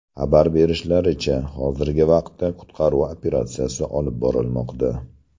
Xabar berishlaricha, hozirgi vaqtda qutqaruv operatsiyasi olib borilmoqda.